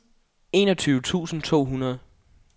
enogtyve tusind to hundrede